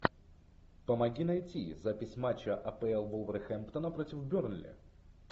помоги найти запись матча апл вулверхэмптона против бернли